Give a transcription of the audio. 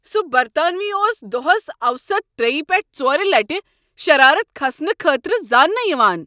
سُہ برطانوی اوس دۄہس اوسط ترٛیِہ پیٹھہٕ ژورِ لٹِہ شرارت کھسنہٕ خٲطرٕ زاننہٕ یِوان ۔